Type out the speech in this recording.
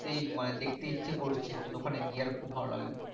সেই দেখতে ইচ্ছে করছে তো ওখানে গিয়ে খুব ভালো লাগবে